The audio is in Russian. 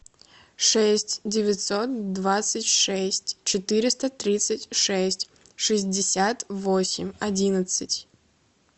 шесть девятьсот двадцать шесть четыреста тридцать шесть шестьдесят восемь одиннадцать